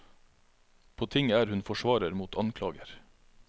På tinget er hun forsvarer mot anklager.